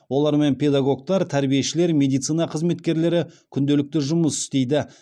олармен педагогтар тәрбиешілер медицина қызметкерлері күнделікті жұмыс істейді